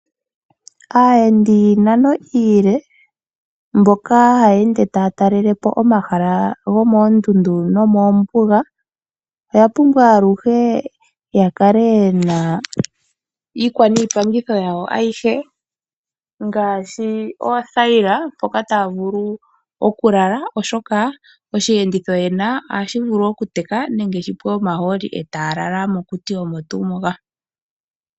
Aayendi yiinano iile mboka haya ende taya talela po omahala gomoondundu nomoombuga oya pumbwa aluhe yakale yena iikwa niipangitho yawo ayihe ngaashi oothayila mpoka taya vulu okulala oshoka oshiyenditho yena ohashi vulu okuteka nenge shipwe omahooli e taya lala mokuti omo tuu moka.